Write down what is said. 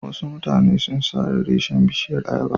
Wasu mutane sun sare reshinan bishiyar ayaba.